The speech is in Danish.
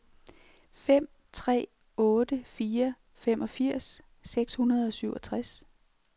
fem tre otte fire femogfirs seks hundrede og syvogtres